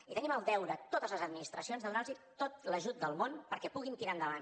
i tenim el deure totes les administracions de donar los tot l’ajut del món perquè puguin tirar endavant